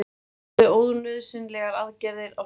Gerðu ónauðsynlegar aðgerðir á sjúklingum